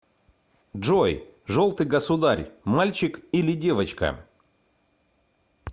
джой желтый государь мальчик или девочка